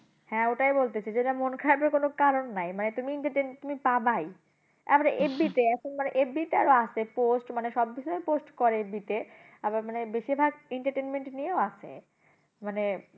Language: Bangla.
হ্যাঁ ওটাই বলতেছি যে এটা মন খারাপের কোন কারণ নাই মানে তুমি entertainment তুমি পাবাই। তারপরে FB তে, এখন মানে FB তে আরো আছে post মানে সব বিষয়ে post করে FB তে আবার মানে বেশিরভাগ entertainment নিয়েও আসে। মানে,